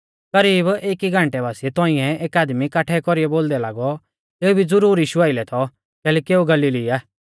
करीब एकी घन्टै बासिऐ तौंइऐ एक आदमी काठै कौरीऐ बोलदै लागौ एऊ भी ज़रूर यीशु आइलै थौ कैलैकि एऊ गलीली आ